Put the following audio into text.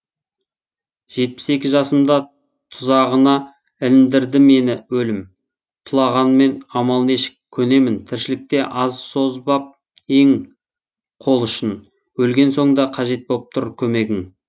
жетпіс екі жасымда тұзағына іліндірді мені өлім тулағанмен амал нешік көнемін тіршілікте аз созбап ең қол ұшын өлген соң да қажет боп тұр көмегің